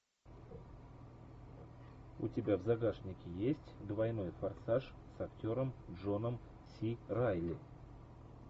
у тебя в загашнике есть двойной форсаж с актером джоном си райли